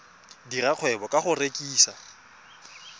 dira kgwebo ka go rekisa